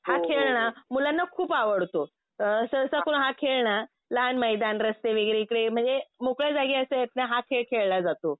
हा खेळ ना मुलांना खूप आवडतो. सहसाकरून हा खेळ ना लहान मैदान, रस्ते वगैरे इकडे म्हणजे मोकळ्या जागी अशा आहेत हा खेळ खेळला जातो.